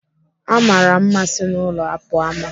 Amara mma si n'ụlọ pụọ ama.